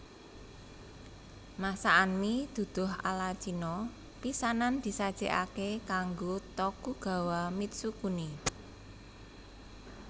Masakan mi duduh ala Cina pisanan disajékaké kanggo Tokugawa Mitsukuni